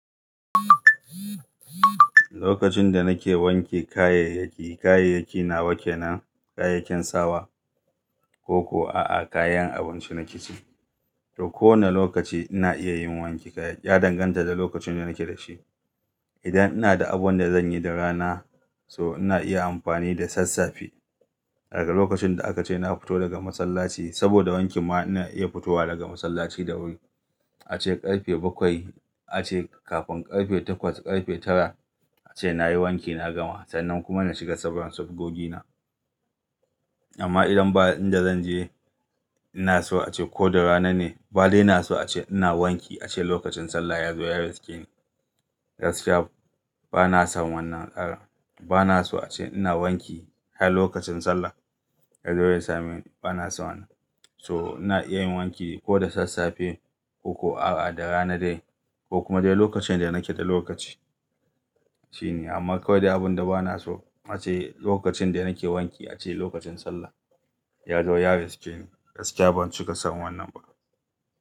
Lokacin da nake wanke kayayyaki, kayayyaki nawa kenan kayakin sawa ko kuwa a'a kayan abinci na kicin. To ko wane lokaci ina iya yin wanke kaya, ya danganta da lokacin da nake da shi. Idan ina da abun da zan yi da rana so ina iya amfani da sassafe. Daga lokacin da aka ce na futo daga masallaci saboda wanki ma ina iya futowa daga masallaci da wuri. A ce ƙarfe bakwai, a ce kafin ƙarfe takwas, ƙarfe tara a ce nayi wanki na gama sannan kuma na shiga sauran sabgogi na. Amma idan ba inda zan je, ina so a ce ko da rana ne, ba dai na so a ce ina wanki a ce lokacin sallah ya zo ya riske ni. Gaskiya ba na son wannan tsara. Ba na so a ce ina wanki har lokacin sallah ya zo ya same ni. Ba na so wannan. So ina iya yin wanki ko da sassafe ko kuwa da rana dai ko kuma dai lokacin da nake da lokaci. Shine amma kawai dai abin da ba na so a ce lokacin da nake wanki a ce lokacin sallah ya zo ya riske ni. Gaskiya ban cika son wannan ba.